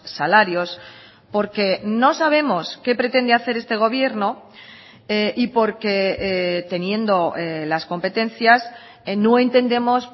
salarios porque no sabemos qué pretende hacer este gobierno y porque teniendo las competencias no entendemos